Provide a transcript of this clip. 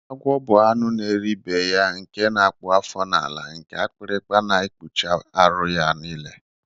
Agwọ bu anụ n'eri anụ ibeya nke na akpụ afọ na ala nke akpịrịkpa na ekpuchi arụ ya nile.